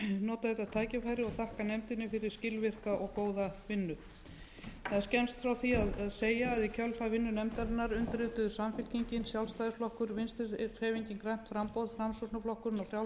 og þakka nefndinni fyrir skilvirka og góða vinnu það er skemmst frá því að segja að í kjölfar vinnu nefndarinnar undirrituðu samfylkingin sjálfstæðisflokkur vinstri hreyfingin grænt framboð framsóknarflokkurinn